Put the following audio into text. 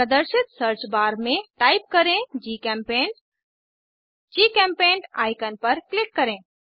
प्रदर्शित search bar में type करें जीचेम्पेंट जीचेम्पेंट आईकन पर क्लिक करें